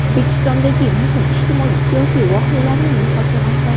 O‘zbekistondagi muhim ijtimoiy-siyosiy voqealarining muhokamasi.